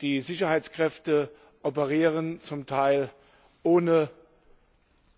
Die Sicherheitskräfte operieren zum Teil ohne